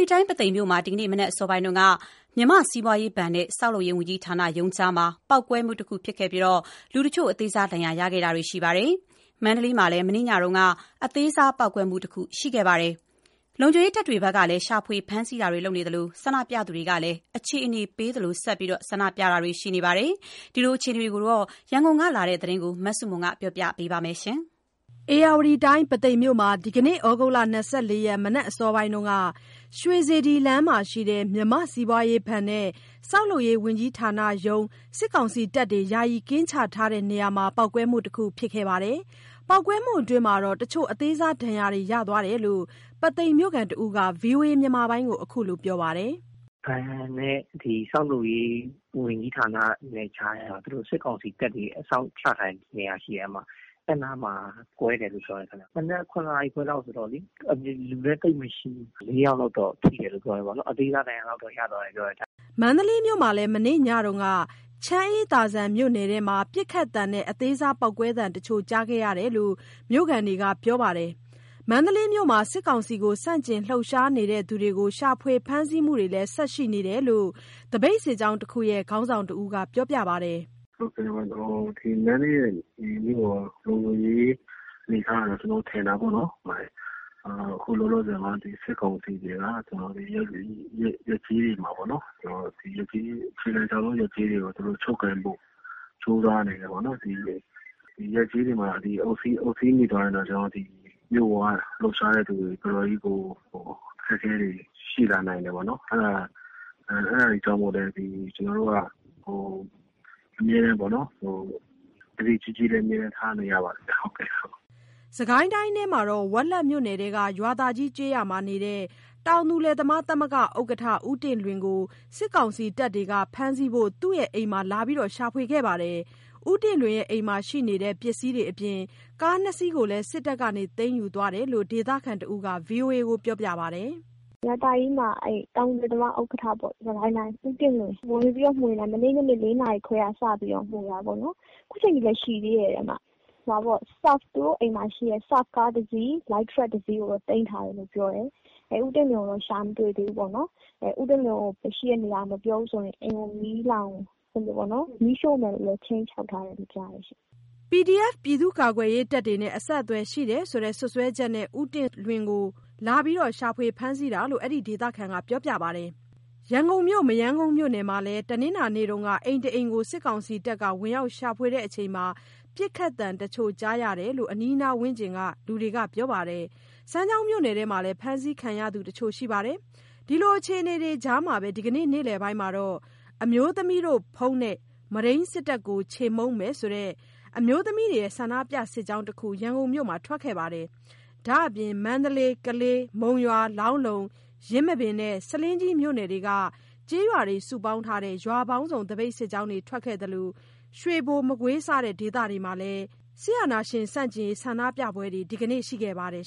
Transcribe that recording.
ီတိုင်း ပုသိမ်မြို့မှာ ဒီနေ့မနက် အစောပိုင်းက မြန်မာ့စီးပွားရေးဘဏ်နဲ့ ဆောက်လုပ်ရေးဝန်ကြီးဌာနရုံးကြားမှာ ပေါက်ကွဲမှု တစ်ခု ဖြစ်ခဲ့ပြီး လူတချို့ အသေးစား ဒဏ်ရာတွေ ရခဲ့ကြပါတယ်။ မန္တလေးမှာလည်း မနေ့ညက အသေးစားပေါက်ကွဲမှုတခု ဖြစ်ခဲ့ပါတယ်။ လုံခြုံရေးတပ်တွဘက်ကလည်း ရှာဖွေ ဖမ်းဆီးမှုတွေ လုပ်နေသလို ဆန္ဒပြသူတွေကလည်း အခြေအနေပေးသလို ဆန္ဒပြနေကြပါတယ်။ ခုလိုအခြေအနေတွေအကြောင်း ရန်ကုန်ကလာတဲ့သတင်းကို မစုမြတ်မွန်ကပြောပြပါမယ်။ ဧရာဝတီတိုင်း ပုသိမ်မြို့ မှာ ဒီနေ့ သြဂုတ် ၂၄ ရက် မနက်အစောပိုင်းက ရွှေစေတီလမ်းမှာရှိတဲ့ မြန်မာ့စီးပွားရေးဘဏ်နဲ့ ဆောက်လုပ်ရေး ဝန်ကြီးဌာနရုံးကြား စစ်ကောင်စီတပ်တွေ ယာယီကင်းချတဲ့ နေရာမှာ ပေါက်ကွဲမှု တခုဖြစ်ခဲ့ပါတယ်။ ပေါက်ကွဲမှုအတွင်း တချို့ အသေးစားဒဏ်ရာတွေ ရသွားတယ်လို့ ပုသိမ်မြို့ခံတစ်ဦး VOAကို အခုလိုပြောပါတယ်။ “ပုသိမ်ဘဏ်နဲ့ ဒီဆောက်လုပ်ရေး ဝန်ကြီးဌာနနဲ့ ကြားက သူတို့ စစ်ကောင်စီတပ်တွေ အစောင့်ချထားတဲ့ နေရာရှိတယ် အဲ့နားမှာ ကွဲတယ်လို့ပြောတယ်ခင်ဗျ မနက် ၇ နာရီခွဲလောက်ဆိုတော့လေး အပြင်မှာ လူလည်းသိပ်မရှိဘူး ဆိုတော့ လေးယောက်လောက်တော့ ထိတယ်လို့ ပြောတယ်ပေါ့နော် အသေးစားဒဏ်ရာလောက်တော့ ရသွားတယ်ပြောတယ်” မန္တလေးမြို့မှာလည်း မနေ့ညက ချမ်းအေးသာဇံမြို့နယ်ထဲမှာ ပစ်ခတ်သံနဲ့ အသေးစားပေါက်ကွဲသံတချို့ကြားခဲ့ရတယ်လို့ မြို့ခံတွေက ပြောပါတယ်။ မန္တလေးမြို့မှာ စစ်ကောင်စီကို ဆန့်ကျင်လှုပ်ရှားနေသူတွေကို ရှာဖွေ ဖမ်းဆီးမှုတွေလည်း ဆက်ရှိနေလို့ သပိတ်စစ်ကြောင်းတစ်ခုရဲ့ ခေါင်းဆောင်တစ်ဦးက ပြောပါတယ်။ “အခု မန္တလေးရဲ့ လုံခြုံရေး အနေအထားက ကျွန်တော်ထင်တာပေါ့နှော်၊ အခု လောလောဆယ်မှာ ဒီစစ်ကောင်စီတွေက ဒီရပ်ကျေးတွေ တစ်ခုလုံးကို သူတို့ ချုပ်ကိုင်ဖို့ ကြိုးစားနေတယ်ပေါ့။ ဒီရပ်ကျေးတွေမှာ သူတို့ အုပ်စီးမိသွားရင်တော့ မြို့ပေါမှာ လှုပ်ရှားတဲ့သူတွေ တော်တော်လေးကို အခက်အခဲတွေ ရှိလာနိုင်တယ်ပေါ့နှော်။ အဲ့ဒါတွေကြောင့်လဲ ကျွန်တော်တို့က အမြဲတမ်းပေါ့နှော်၊ သတိကြီးကြီး အမြဲတမ်းထားနေရပါတယ်ဗျ။” စစ်ကိုင်းတိုင်းမှာတော့ ဝက်လက်မြို့နယ်ထဲက ရွာသာကြီး ကျေးရွာနေ တောင်သူလယ်သမားသမဂ္ဂ ဥက္ကဌ ဦးတင့်လွင်ကို စစ်ကောင်စီတပ်တွေက ဖမ်းဆီးဖို့ သူ့အိမ်မှာ လာရောက်ရှာဖွေခဲ့ပါတယ်။ ဦးတင့်လွင်ရဲ့ အိမ်မှာရှိနေတဲ့ ပစ္စည်းတွေအပြင် ကား ၂ စီကို စစ်တပ်က သိမ်းယူသွားတယ်လို့ ဒေသခံတစ်ဦးက VOA ကို ပြောပြပါတယ်။ “ရွာသာကြီးမှာ တောင်သူလယ်သမား သမဂ္ဂ ဥက္ကဌပေါ့၊ ဦးတင့်လွင်။ အဲ့ကို ဝင်မွေတာ မနေ့ညနေ ၄ နာရီလောက်တည်းက စပြီး ဝင်မွေတာပေါ့။ ခုအချိန်ထိလဲ ရှိသေးတယ်။ သူတို့ အိမ်မှာ ရှိတဲ့ SUFF ကားတစ်စီး၊ လိုက်ထရပ်ကားတစ်စီး သိမ်းသွားတယ်။ ဦးတင့်လွင်ကိုတော့ ရှာမတွေ့ဘူးပေါ့။ ဦးတင့်လွင် ရှိတဲ့ နေရာကို မပြောရင် အိမ်ကို မီးရှို့မယ်လို့ လည်း ခြိမ်းခြောက်ထားတယ်လို့ ကြားတယ်ရှင့်။” PDF ပြည်သူ့ကာကွယ်ရေးတပ်တွေနဲ့ အဆက်အသွယ်ရှိတယ်ဆိုတဲ့ စွပ်စွဲချက်နဲ့ ဦးတင့်လွင်ကို လာရှာနေတာလို့ အဲဒီဒေသခံက ပြောပြပါတယ်။ ရန်ကုန်မြို့ မရမ်းကုန်မြို့နယ်မှာလည်း တနင်္လာနေ့က အိမ်တအိမ်ကို စစ်ကောင်စီတပ်တွေက ဝင်ရောက်ရှာဖွေစဉ် ပစ်ခတ်သံတချို့ကြားရတယ်လို့ အနီးအနားဝန်းကျင်က လူတွေက ပြောပြပါတယ်။ စမ်းချောင်းမြို့နယ်ထဲမှာလည်း ဖမ်းဆီးခံရသူတချို့ရှိပါတယ်။ ဒီလိုအခြေအနေကြားမှာပဲ ဒီနေ့နေ့လည်ပိုင်းကတော့ ‘အမျိုးသမီးတို့ ဘုန်းနဲ့ မုဒိမ်းစစ်တပ်ကို ချေမှုန်းမယ်’ ဆိုတဲ့ အမျိုးသမီးတွေရဲ့ ဆန္ဒပြစစ်ကြောင်းတစ်ခု ရန်ကုန်မြို့မှာ ထွက်ခဲ့ပါတယ်။ ဒါမပြင် မန္တလေး၊ ကလေး၊ မုံရွာ၊ လောင်းလုံ၊ ယင်းမာပင်နဲ့ ဆားလင်းကြီး မြို့နယ်က ကျေးရွာတွေ စုပေါင်းထားတဲ့ ရွာပေါင်းစုံသပိတ် စစ်ကြောင်းတွေ ထွက်ခဲ့သလို ရွေဘို၊ မကွေး၊ စတဲ့ ဒေသတွေမှာလည်း စစ်အာဏာရှင် ဆန့်ကျင်ရေး ဆန္ဒပြပွဲတွေ ဒီကနေ့ ရှိခဲ့ပါတယ်